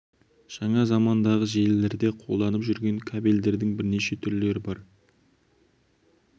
Жаңа замандағы желілерде қолданылып жүрген кабельдердің бірнеше түрлері бар